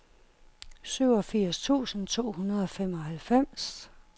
syvogfirs tusind to hundrede og femoghalvfems